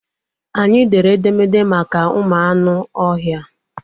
Anyị dere edemede maka ụmụ anụ ọhịa.